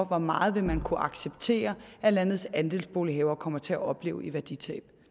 hvor meget vil man kunne acceptere at landets andelsbolighavere kommer til at opleve i værditab